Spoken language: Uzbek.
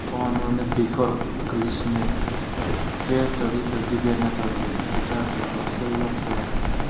Qonunni bekor qilishni Puerto-Riko gubernatori Rikardo Rosello so‘radi.